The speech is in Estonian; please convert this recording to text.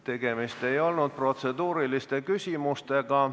Tegemist ei olnud protseduuriliste küsimustega.